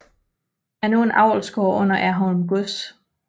Er nu er en avlsgård under Erholm Gods